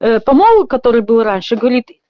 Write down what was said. по-моему который был раньше говорит